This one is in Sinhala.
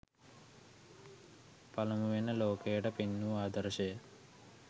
පළමුවෙන්ම ලෝකයට පෙන් වූ ආදර්ශය,